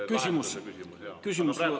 Aga praegu on sõna teil.